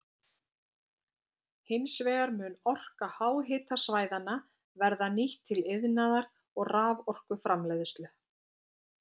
Hins vegar mun orka háhitasvæðanna verða nýtt til iðnaðar og raforkuframleiðslu.